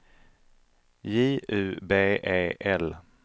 J U B E L